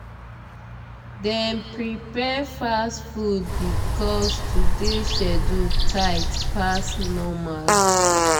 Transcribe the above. dem prepare fast food because today schedule tight pass normal.